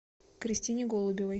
кристине голубевой